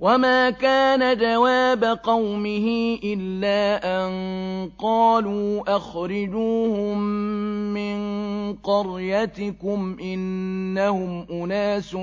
وَمَا كَانَ جَوَابَ قَوْمِهِ إِلَّا أَن قَالُوا أَخْرِجُوهُم مِّن قَرْيَتِكُمْ ۖ إِنَّهُمْ أُنَاسٌ